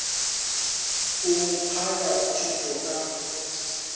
o mo phaya thetho ka